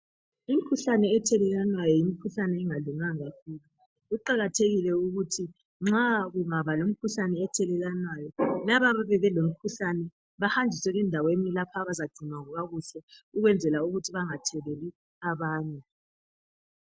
Imikhuhlane ethelelwanayo yimikhuhlane engalunganga kakhulu Kuqakathekile ukuthi nxa ungaba lomkhuhlane ethelelwanayo, laba abayabe belomkhuhlane bahanjiswe endaweni lapha abazagcinwa kuhle ukwenzela ukuthi bangatheleli abanye.